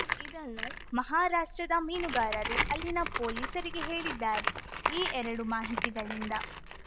ಇದನ್ನು ಮಹಾರಾಷ್ಟ್ರದ ಮೀನುಗಾರರು ಅಲ್ಲಿನ ಪೊಲೀಸರಿಗೆ ಹೇಳಿದ್ದಾರೆ ಈ ಎರಡೂ ಮಾಹಿತಿಗಳಿಂದ